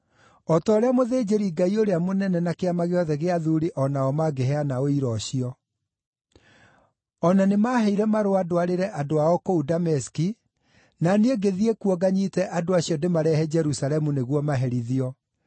o ta ũrĩa mũthĩnjĩri-Ngai ũrĩa mũnene na Kĩama gĩothe gĩa athuuri o nao mangĩheana ũira ũcio. O na nĩmaheire marũa ndwarĩre andũ ao kũu Dameski, na niĩ ngĩthiĩ kuo nganyiite andũ acio ndĩmarehe Jerusalemu nĩguo maherithio.